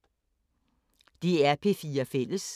DR P4 Fælles